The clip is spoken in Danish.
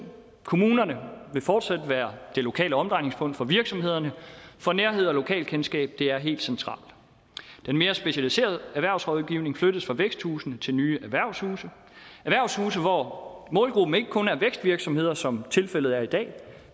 kommunerne vil fortsat være det lokale omdrejningspunkt for virksomhederne for nærhed og lokalkendskab er helt centralt den mere specialiserede erhvervsrådgivning flyttes fra væksthusene til nye erhvervshuse hvor målgruppen ikke kun er vækstvirksomheder som det tilfældet i dag